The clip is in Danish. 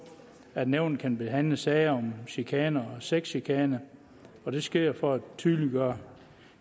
at nævnet kan behandle sager om chikane og sexchikane det sker for at tydeliggøre